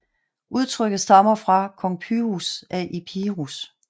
Udtrykket stammer fra kong Pyrrhus af Epirus